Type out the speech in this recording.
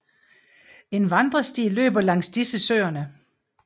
En vandresti løber langs disse søerne